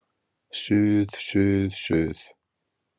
Suð, suð, suð.